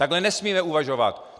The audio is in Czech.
Takhle nesmíme uvažovat!